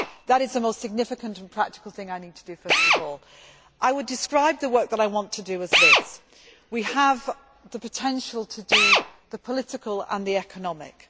That is the most significant and practical thing I need to do first of all. I would describe the work that I want to do as this we have the potential to do the political and the economic.